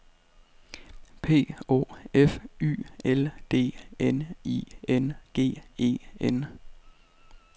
P Å F Y L D N I N G E N